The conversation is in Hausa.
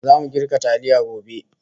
Zamu girka taliya gobe